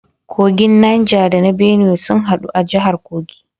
Kogin Niger da na Benue sun hadu a jahar Kogi